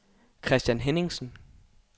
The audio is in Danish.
Christian Henningsen